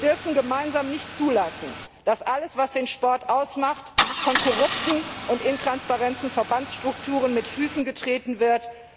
Wir dürfen gemeinsam nicht zulassen, dass alles, was den Sport ausmacht, von korrupten und intransparenten Verbandsstrukturen mit Füßen getreten wird.